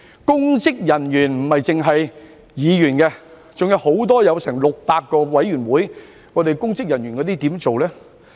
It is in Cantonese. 公職人員指的不只是議員，還有多達600個委員會的公職人員，該如何處理呢？